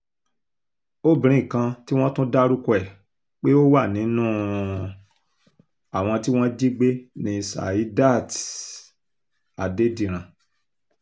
obìnrin kan tí wọ́n tún dárúkọ ẹ̀ pé ó wà nínú um àwọn tí wọ́n jí gbé ní saidat um adédìran